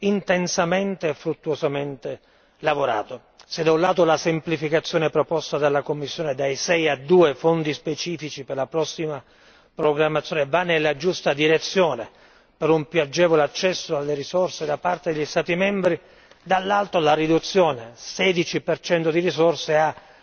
intensamente e fruttuosamente lavorato. Se da un lato, la semplificazione proposta dalla Commissione da 6 a 2 fondi specifici per la prossima programmazione va nella giusta direzione per un più agevole accesso alle risorse da parte degli Stati membri, dall'altro la riduzione del 16 di risorse ha